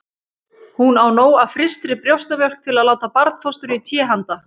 Hún á nóg af frystri brjóstamjólk til að láta barnfóstru í té handa